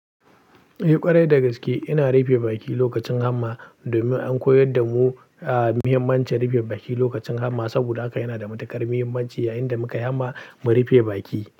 Eh ƙwarai dagaske, ina rufe baki lokacin hamma domin an koyar da mu a muhimmancin rufe baki lokacin hamma. Saboda haka yana da matukar muhimmanci yayin da mukai hamma mu rufe baki.